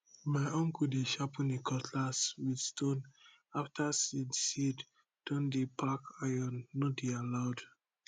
my uncle dey sharpen e cutlass with stone after seed seed don dey pack iron no dey allowed